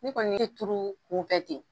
Ne kɔni ye turu kunfɛ ten.